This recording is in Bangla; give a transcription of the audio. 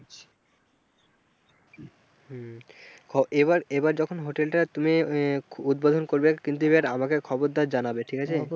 এবার এবার যখনই hotel টা তুমি উদ্বোধন করবে কিন্তু এবার আমাকে খবরটা জানাবে ঠিক আছে।